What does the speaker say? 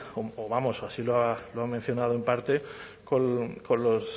vamos así lo ha mencionado en parte con los